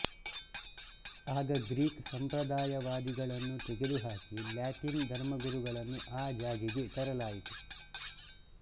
ಆಗ ಗ್ರೀಕ್ ಸಂಪ್ರದಾಯವಾದಿಗಳನ್ನು ತೆಗೆದು ಹಾಕಿ ಲ್ಯಾಟಿನ್ ಧರ್ಮಗುರುಗಳನ್ನು ಆ ಜಾಗೆಗೆ ತರಲಾಯಿತು